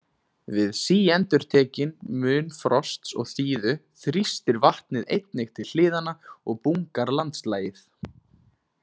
Við síendurtekinn mun frosts og þíðu þrýstir vatnið einnig til hliðanna og bungar landslagið.